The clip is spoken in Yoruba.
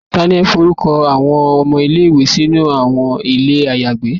tani o forukọ awọn ọmọ ile-iwe silẹ sinu ilé ayagbé?